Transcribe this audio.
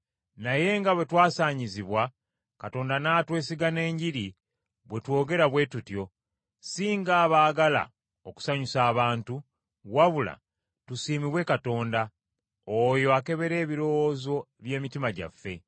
naye nga bwe twasaanyizibwa Katonda n’atwesiga n’Enjiri, bwe twogera bwe tutyo, si ng’abaagala okusanyusa abantu, wabula tusiimibwe Katonda, oyo akebera ebirowoozo by’emitima gyaffe.